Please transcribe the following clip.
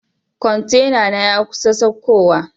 Kwantenana ya kusa saukowa.